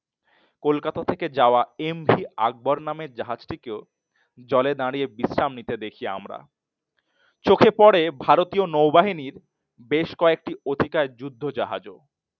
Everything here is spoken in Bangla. কলকাতা থেকে যাওয়া MV আকবর নামে জাহাজটি কেও জলে দাঁড়িয়ে বিশ্রাম নিতে দেখি আমরা চোখে পড়ে ভারতীয় নৌ বাহিনীর বেশ কয়েকটি অধিকাএ যুদ্ধজাহাজও